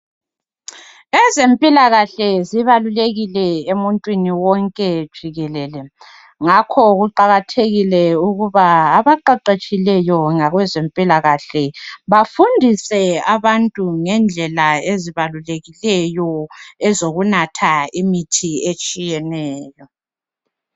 Ezempilakahle zibalulekile emuntwini wonke jikelele, ngakho kuqakathekile ukuba abaqeqetshileyo ngakwezempilakahle bafundise abantu ngendlela ezibalulekileyo ezokunatha imithi etshiyeneyo.